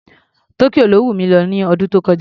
Tokyo ló wùn mi lọ lọ́dún tó kọjá.